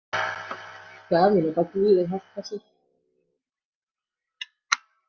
Daðína bað guð að hjálpa sér.